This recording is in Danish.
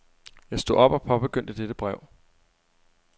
Jeg stod op og påbegyndte dette brev.